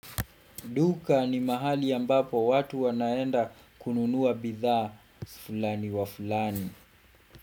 Duka ni mahali ambapo watu wanaenda kununua bidhaa fulani wa fulani.